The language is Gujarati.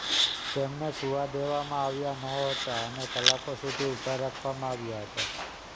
તેમને સુવા દેવામાં આવતા નહોતા અ્ને કલાકો સુધી ઉભા રાખવામાં આવ્યા હતા